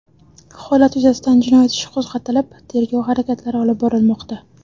Holat yuzasidan jinoyat ishi qo‘zg‘atilib, tergov harakatlari olib borilmoqda.